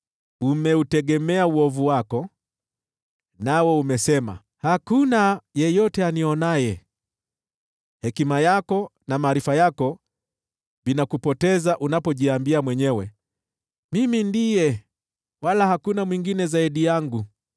Umeutegemea uovu wako, nawe umesema, ‘Hakuna yeyote anionaye.’ Hekima yako na maarifa yako vinakupoteza unapojiambia mwenyewe, ‘Mimi ndiye, wala hakuna mwingine zaidi yangu.’